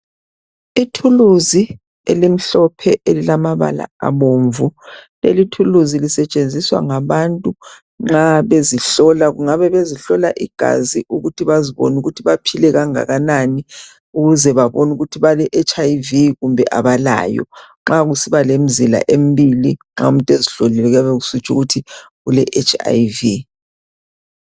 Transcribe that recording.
Ithuluzi elimhlophe elilamabala abomvu. Lelithuluzi lisetshenziswa ngabantu nxa bezihlola. Kungabe bezihlola igazi ukuthi bazibone ukuthi baphile kangakanani, ukuze babone ukuthi bale etshi ayi vi kumbe abalayo. Nxa kusiba lemzila embili nxa umuntu ezihlolile kuyabe kusitsho ukuthi ule etshi ayi vi.